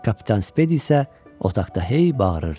Kapitan Spedi isə otaqda hey bağırırdı.